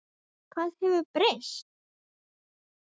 Hvað hefur breyst?